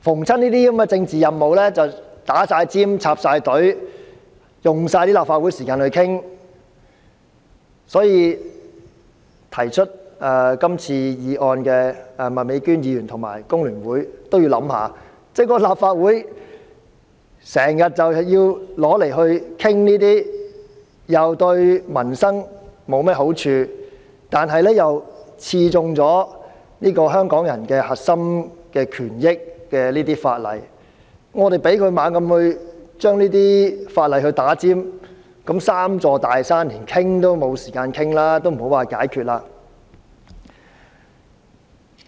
這些政治任務總要插隊，花光立法會的討論時間，所以我請提出今次議案的麥美娟議員及香港工會聯合會想想，如果立法會時常討論這些既對民生沒有好處，又刺中香港人核心權益的法例，而我們又讓政府將這些法例插隊，那我們連討論這"三座大山"的時間也沒有，莫說要解決。